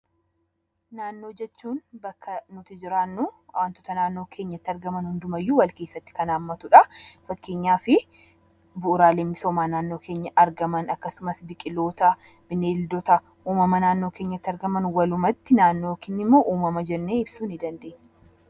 Naannoo jechuun bakka nuti jiraannu waantota naannoo keenyatti argaman hundumayyuu wal keessatti kan haammatudha. Fakkeenyaaf bu'uuraalee misoomaa naannoo keenyatti argaman akkasumas biqiloota, bineeldota naannoo keenyatti argaman. Walumatti naannoo keenya immoo uumama jennee ibsuu ni dandeenya.